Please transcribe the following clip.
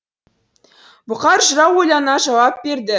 бұқар жырау ойлана жауап берді